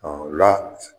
o la